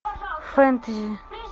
фэнтези